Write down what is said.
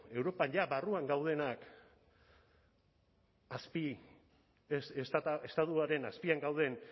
europa barruan gaudenak estatuaren azpian gauden